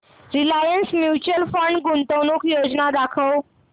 Reliance mutual fund गुंतवणूक योजना दाखव